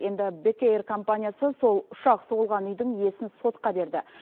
енді бек эйр компаниясы сол ұшақ соғылған үйдің иесін сотқа берді